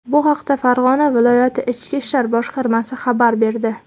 Bu haqda Farg‘ona viloyati ichki ishlar boshqarmasi xabar berdi .